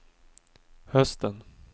hösten